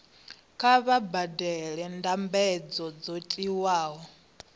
kha vha badele mbadelo dzo tiwaho